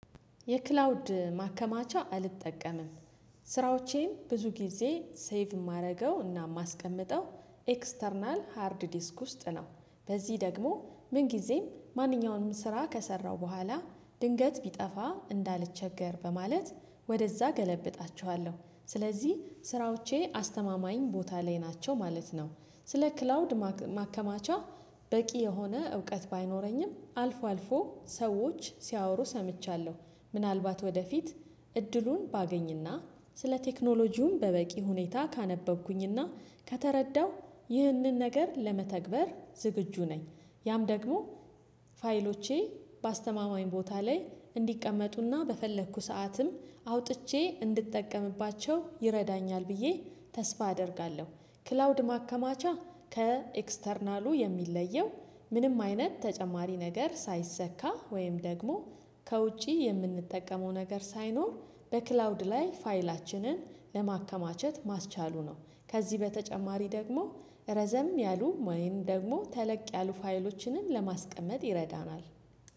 የክላውድ ማከማቻ አልጠቀምም። ስራዎቼን ብዙ ጊዜ ሴቭ የማደርገው እና የማስቀምጠው ኤክስተርናል ሃርድ ዲስክ ውስጥ ነው። በዚህ ደግሞ ምን ጊዜም ማንኛውንም ስራ ከሰራው በኋላ ድንገት ቢጠፋ እንዳልቸገር በማለት ወደዛ እገለብጣቸዋለሁ ስለዚህ ስራዎቼ አስተማማኝ ቦታ ላይ ናቸው ማለት ነው። ስለ ክላውድ ማከማቻ በቂ የሆነ እውቀት ባይኖረኝም አልፎ አልፎ ሰዎች ሲያወሩ ሰምቻለሁ። ምናልባት ወደፊት እድሉን ባገኝና ስለ ቴክኖሎጂውም በበቂ ሁኔታ ካነበብኩኝና ከተረዳው ይህንን ነገር ለመተግበር ዝግጁ ነኝ። ያም ደግሞ ፋይሎቼ በአስተማማኝ ቦታ ላይ እንዲቀመጡና በፈለኩ ሰዓትም አውጥቼ እንድትጠቀምባቸው ይረዳኛል ብዬ ተስፋ አደርጋለሁ። ክላውድ ማከማቻ ከኤክስተርናሉ የሚለየው ምንም አይነት ተጨማሪ ነገር ሳይሰካ ወይም ደግሞ ከውጪ የምንጠቀመው ነገር ሳይኖር በክላውድ ላይ ፋይላችንን ለማከማቸት ማስቻሉ ነው። ከዚህ በተጨማሪ ደግሞ ረዘም ያሉ ወይም ደግሞ ተለቅ ያሉ ፋይሎችን ለማስቀመጥ ይረዳናል